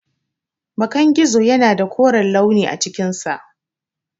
Bakan gizo yana da koren launi a cikinsa.